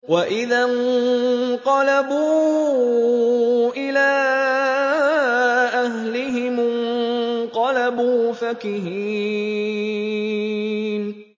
وَإِذَا انقَلَبُوا إِلَىٰ أَهْلِهِمُ انقَلَبُوا فَكِهِينَ